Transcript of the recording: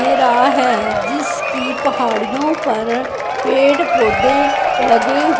दे रहा है जिसकी पहाड़ियो पर पेड़ पौधे लगे हु--